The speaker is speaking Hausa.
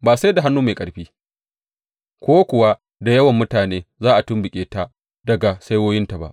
Ba sai da hannu mai ƙarfi, ko kuwa da yawan mutane za a tumɓuke ta daga saiwoyinta ba.